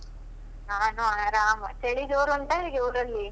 ನಾನು ಆರಾಮ್. ಚಳಿ ಜೋರ್ ಉಂಟಾ ಹೇಗೆ ಊರಲ್ಲಿ?